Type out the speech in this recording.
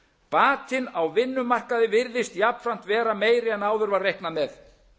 batinn á vinnumarkaði virðist jafnframt vera meiri en áður var reiknað með